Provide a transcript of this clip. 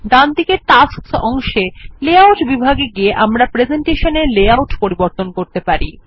ডানদিকে টাস্কস অংশে লেআউট বিভাগে গিয়ে আমরা প্রেসেন্টেশন এর লেআউট পরিবর্তন করতে পারেন